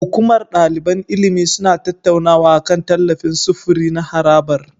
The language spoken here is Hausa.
Hukumar daliban ilimi suna tattaunawa akan tallafin sufuri na harabar.